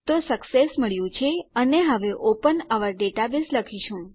તો સક્સેસ મળ્યું છે અને હવે ઓપન ઓઉર ડેટાબેઝ લખીશું